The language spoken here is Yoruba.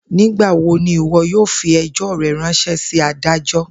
Nigbawo ni iwọ yoo fi ẹjọ rẹ ranṣẹ si adajọ?